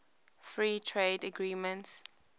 free trade agreements